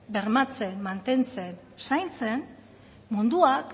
bermatzen mantentzen zaintzen munduak